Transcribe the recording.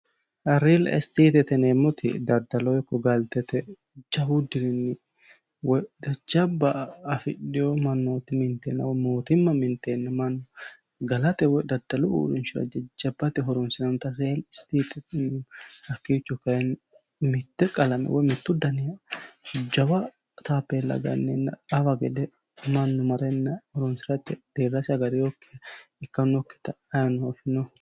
Real statete yineemmoti galtete ikko daddaloho jawu dirinni woyi jajjabba afidhino mannoti minitinoha woyi mootimma mintenna galate woyi daddaloho jajjabba uurrinshara horonsi'nannitta te'e real statete hakkicho kayinni mite qalame woyi mitu dani taphela qansenna hawa gede deerrasi agadhinokki manni marre leellanokkitta ayeeno afino.